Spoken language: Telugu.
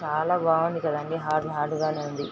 చాలా బాగుంది కాదండి హార్డ్ హార్డ్ గానే ఉంది.